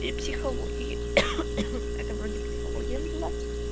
и психологии это вроде психология была